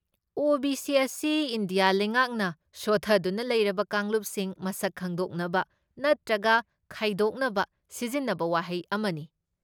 OBC. ꯑꯁꯤ India ꯂꯩꯉꯥꯛꯅ ꯁꯣꯊꯗꯨꯅ ꯂꯩꯔꯕ ꯀꯥꯡꯂꯨꯞꯁꯤꯡ ꯃꯁꯛ ꯈꯪꯗꯣꯛꯅꯕ ꯅꯠꯇ꯭ꯔꯒ ꯈꯥꯏꯗꯣꯛꯅꯕ ꯁꯤꯖꯤꯟꯅꯕ ꯋꯥꯍꯩ ꯑꯃꯅꯤ꯫